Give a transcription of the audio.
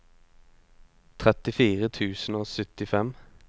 trettifire tusen og syttifem